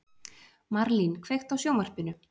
Marlín, kveiktu á sjónvarpinu.